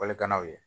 Walikannaw ye